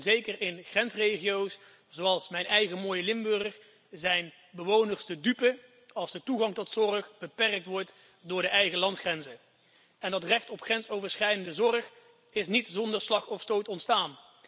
Zeker in grensregio's, zoals mijn eigen mooie Limburg, zijn bewoners de dupe als de toegang tot zorg beperkt wordt door de eigen landsgrenzen. Dat recht op grensoverschrijdende zorg is niet zonder slag of stoot ontstaan.